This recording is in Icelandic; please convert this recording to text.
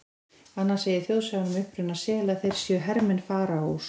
Annars segir þjóðsagan um uppruna sela að þeir séu hermenn Faraós.